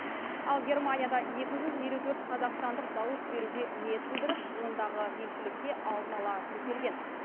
ал германияда екі жүз елу төрт қазақстандық дауыс беруге ниет білдіріп ондағы елшілікке алдын ала тіркелген